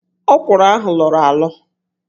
Ókwụ̀rụ̀ ahụ lọọrọ alọ